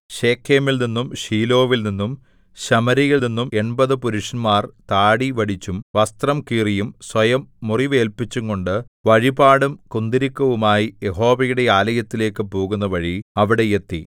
ശെഖേമിൽനിന്നും ശീലോവിൽനിന്നും ശമര്യയിൽനിന്നും എണ്പത് പുരുഷന്മാർ താടി വടിച്ചും വസ്ത്രം കീറിയും സ്വയം മുറിവേല്പിച്ചുംകൊണ്ട് വഴിപാടും കുന്തുരുക്കവുമായി യഹോവയുടെ ആലയത്തിലേക്ക് പോകുന്നവഴി അവിടെ എത്തി